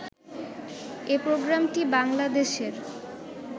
এ প্রোগ্রামটি বাংলাদেশের